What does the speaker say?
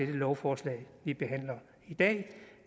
det lovforslag vi behandler i dag